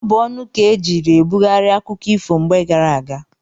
Ọ bụ ọnụ ka ejiiri ebughari akụkọ ifo mgbe gara aga.